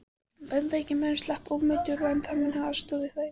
Bandaríkjamaðurinn slapp ómeiddur, en hann mun hafa aðstoðað við fæðinguna.